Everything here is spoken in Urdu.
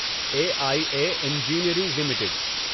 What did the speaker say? a I A engineering limited